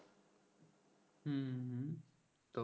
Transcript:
তো